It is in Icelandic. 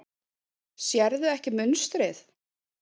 Sérðu ekki munstrið?